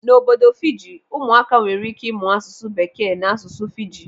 N'obodo Fiji, ụmụaka nwere ike ịmụ asụsụ bekee na asụsụ Fiji.